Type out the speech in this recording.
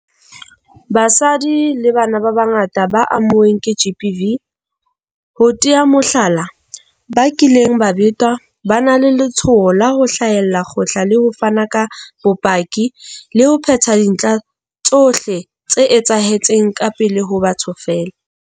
Basadi le bana ba bangata ba amuweng ke GBV, ho tea mohlala, ba kileng ba betwa, ba na le letshoho la ho hlahella kgotla le ho fana ka bopaki le ho phetha dintlha tsohle tse etsahetseng ka pele ho batho feela.